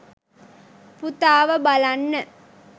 පුතාව බලන්න?